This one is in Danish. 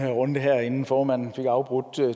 runde her inden formanden fik afbrudt